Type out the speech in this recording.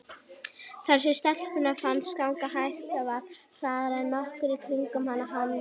Það sem stelpunni fannst ganga hægt var hraðara en nokkur í kringum hana þoldi.